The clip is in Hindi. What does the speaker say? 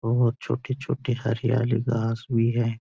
बहुत छोटी-छोटी हरियाली घास भी है।